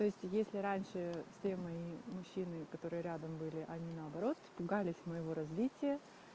то есть если раньше все мои мужчины которые рядом были они наоборот испугались моего развития